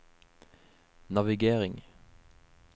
navigering